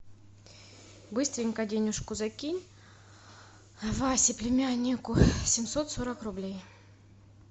быстренько денежку закинь васе племяннику семьсот сорок рублей